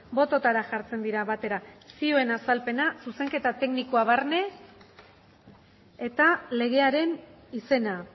bototara jartzen dira batera zioen azalpena zuzenketa teknikoa barne eta legearen izena